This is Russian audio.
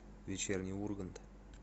вечерний ургант